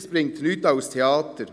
Das ist ein Theater.